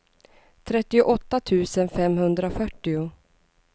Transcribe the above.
trettioåtta tusen femhundrafyrtio